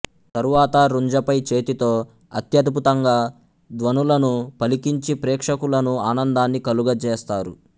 తరువాత రుంజపై చేతితో అత్యద్భుతంగా ధ్వనులను పలికించి ప్రేక్షకులకు ఆనందాన్ని కలుగ జేస్తారు